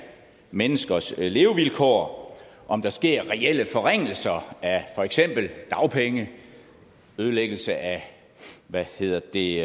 menneskers levevilkår om der sker reelle forringelser af for eksempel dagpenge nedlæggelse af hvad hedder det